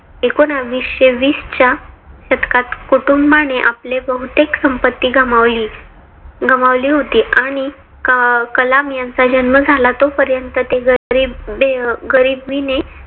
एकोनाविशे वीस च्या शतकात कुटुंबाने आपली बहुतेक संपत्ती गमावली गमावली होती. आणि कलाम यांचा जन्म झाला तोपर्यंत ते गरिबे गरिबीने